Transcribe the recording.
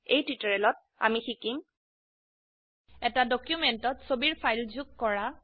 এই টিউটোৰিয়েলত আমি শিকিম160 এটা ডকিউমেন্টত ছবিৰ ফাইল যোগ কৰা